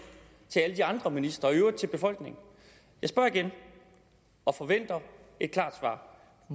til alle de andre ministre og i øvrigt til befolkningen jeg spørger igen og forventer et klart svar